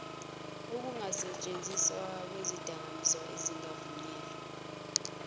ukungasentshenziswa kwezidakamizwa ezingavunyelwe